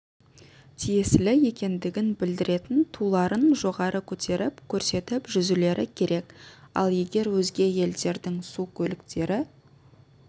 тиесілі екендігін білдіретін туларын жоғары көтеріп көрсетіп жүзулері керек ал егер өзге елдердің су көліктері